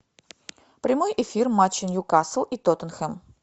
прямой эфир матча ньюкасл и тоттенхэм